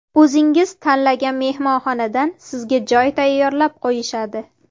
O‘zingiz tanlagan mehmonxonadan sizga joy tayyorlab qo‘yishadi.